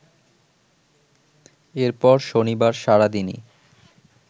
এরপর শনিবার সারাদিনই